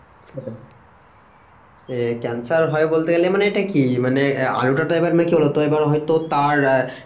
cancer হয় বলতে গেলে মানে এটা কি মানে আলুটা তো এবার তো এবার হয়তো তার আহ